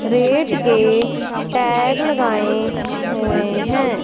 Rate के tag लगाए हुए हैं।